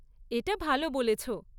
এটা ভালো বলেছ।